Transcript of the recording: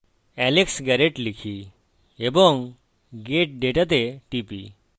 alex garret লিখি এবং get data তে টিপি